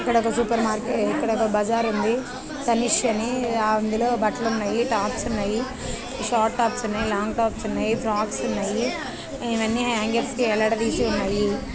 ఇక్కడ ఒక సూపర్ --మార్కె ఇక్కడ ఒక బజార్ ఉంది తనీష్ అని అందులో బట్టలు ఉన్నాయి టాప్స్ ఉన్నాయిషార్ట్ టాప్స్ ఉన్నాయ లాంగ్ టాప్స్ ఉన్నాయి ఫ్రాక్స్ ఉన్నాయి ఇవన్నీ హాంగర్స్ కి వేలాడదీసి ఉన్నాయి.